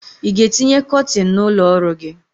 I ga-etinye kọtin n'ụlọ ọrụ gị?